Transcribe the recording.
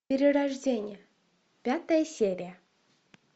перерождение пятая серия